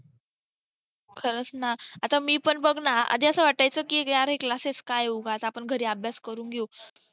खरच ना आता मी पण बघ ना आधी असं वाटायच की अरे हे classes काय उगाच आपण घरी अभ्यास करून घेऊ